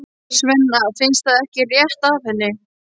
Svenna finnst það ekki rétt af henni.